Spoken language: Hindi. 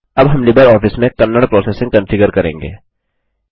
अब हम लिबरऑफिस में कन्नड़ प्रोसेसिंग कंफिगर करेंगे